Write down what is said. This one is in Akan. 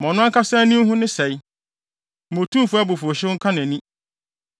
Ma ɔno ankasa ani nhu ne sɛe; ma Otumfo abufuwhyew no nka nʼani.